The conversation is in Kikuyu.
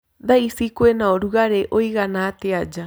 Thaa ĩcĩ kwĩnaũrũgarĩ ũĩgana atĩa nja